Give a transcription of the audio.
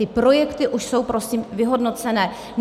Ty projekty už jsou prosím vyhodnocené.